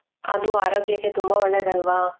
ಅದು ಆರೋಗ್ಯಕ್ಕೆ ತುಂಬಾ ಒಳ್ಳೇದಲ್ವಾ?